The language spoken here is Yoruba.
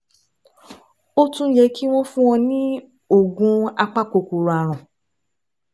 Ó tún yẹ kí wọ́n fún ọ ní oògùn apakòkòrò ààrùn